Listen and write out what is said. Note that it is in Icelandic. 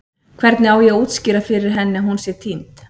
Hvernig á ég að útskýra fyrir henni að hún sé týnd?